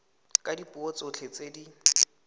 ka dipuo tsotlhe tse di